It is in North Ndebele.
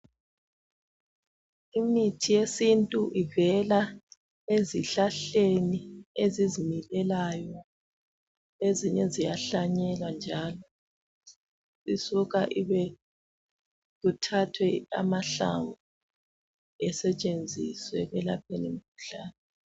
Imithi yesintu ivela ezihlahleni ezizimilelayo. Ezinye ziyahlanyelwa njalo. Isuka kuthathwe amahlamvu asetshenziswe ekwelapheni imikhuhlane